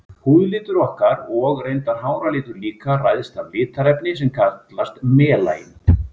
Húðlitur okkar, og reyndar háralitur líka, ræðst af litarefni sem kallast melanín.